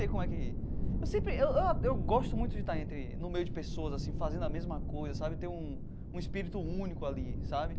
Sei como é que. Eu sempre eu eu eu gosto muito de estar entre no meio de pessoas assim fazendo a mesma coisa sabe, ter um um espírito único ali, sabe.